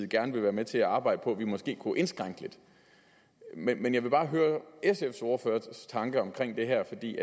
gerne vil være med til at arbejde på at vi måske kunne indskrænke lidt men jeg vil bare høre sfs ordførers tanke om det her for det